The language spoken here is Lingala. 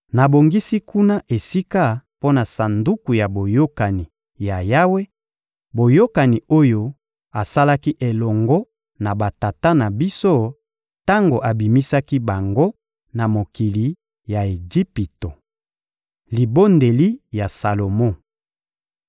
Nabongisi kuna esika mpo na Sanduku ya Boyokani ya Yawe, boyokani oyo asalaki elongo na batata na biso tango abimisaki bango na mokili ya Ejipito. Libondeli ya Salomo (2Ma 6.12-40)